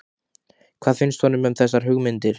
Hvað finnst honum um þessar hugmyndir?